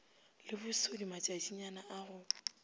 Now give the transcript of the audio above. le bosodi matšatšinyana a go